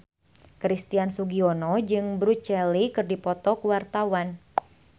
Christian Sugiono jeung Bruce Lee keur dipoto ku wartawan